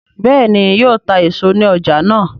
béèni yíò tá èso ní ọjà náa?